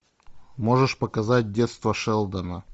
можешь показать детство шелдона